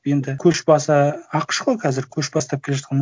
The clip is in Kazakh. енді көшбасы ақш қой қазір көш бастап келе жатқан